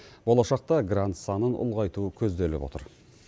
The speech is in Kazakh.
болашақта грант санын ұлғайту көзделіп отыр